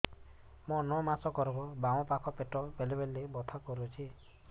ମୋର ନଅ ମାସ ଗର୍ଭ ବାମ ପାଖ ପେଟ ବେଳେ ବେଳେ ବଥା କରୁଛି